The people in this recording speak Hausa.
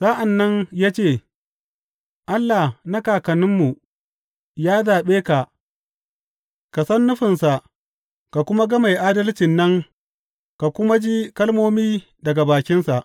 Sa’an nan ya ce, Allah na kakanninmu ya zaɓe ka ka san nufinsa ka kuma ga Mai Adalcin nan ka kuma ji kalmomi daga bakinsa.